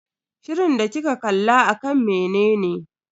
Shirin da kika kalla akan menene?